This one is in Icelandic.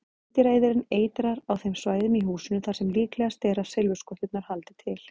Meindýraeyðirinn eitrar á þeim svæðum í húsinu þar sem líklegast er að silfurskotturnar haldi til.